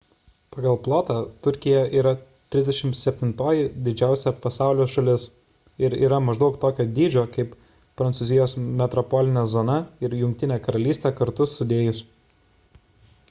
pagal plotą turkija yra 37-oji didžiausia pasaulio šalis ir yra maždaug tokio dydžio kaip prancūzijos metropolinė zona ir jungtinė karalystė kartu sudėjus